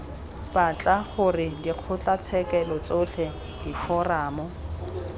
batla gore dikgotlatshekelo tsotlhe diforamo